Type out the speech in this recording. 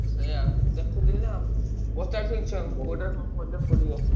ସେୟା ମୁଁ ଦେଖୁଥିଲି ତ ପଚାରୁଥିଲି ଛୁଆଙ୍କୁ ଭଲ ପଡିବ।